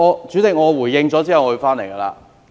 主席，我回應後便會返回議題。